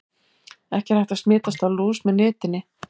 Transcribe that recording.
Ekki er hægt að smitast af lús með nitinni.